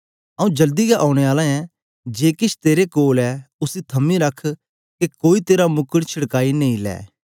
आऊँ जल्दी गै औने आला ऐं जे किश तेरे कोल ऐ उसी थमी रख के कोई तेरा मुकट छुड़काई नी ले